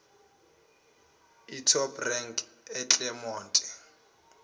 etop rank eclermont